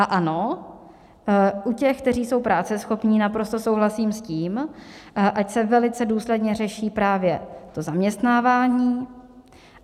A ano, u těch, kteří jsou práceschopní, naprosto souhlasím s tím, ať se velice důsledně řeší právě to zaměstnávání.